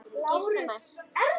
Ég geri það næst.